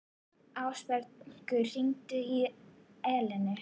Ásbergur, hringdu í Eleinu.